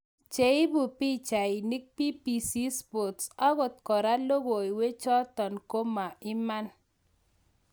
cheipu pichainig BBC Sports ogot kora logoiwek chatong koma iman